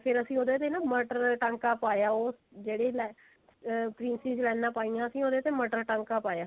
ਫੇਰ ਅਸੀਂ ਉਹਦੇ ਤੇ ਮਟਰ ਟਾਂਕਾ ਪਾਇਆ ਉਹ ਜਿਹੜੀ ah princess ਲਈਨਾ ਪਾਈਆਂ ਸੀ ਉਹਦੇ ਤੇ ਮਟਰ ਟਾਂਕਾ ਪਾਇਆ